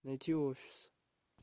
найти офис